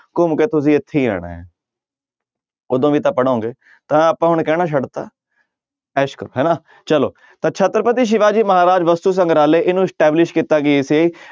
ਘੁੰਮ ਕੇ ਤੁਸੀਂ ਇੱਥੇ ਹੀ ਆਉਣਾ ਹੈ ਉਦੋਂ ਵੀ ਤਾਂ ਪੜ੍ਹੋਗੇ ਤਾਂ ਆਪਾਂ ਹੁਣ ਕਹਿਣਾ ਛੱਡ ਦਿੱਤਾ ਐਸ ਕਰੋ ਹਨਾ ਚਲੋ ਤਾਂ ਛਤਰਪਤੀ ਸਿਵਾ ਜੀ ਮਹਾਰਾਜ ਵਸਤੂ ਸੰਗਰਾਲਹ ਇਹਨੂੰ establish ਕੀਤਾ ਗਿਆ ਸੀ,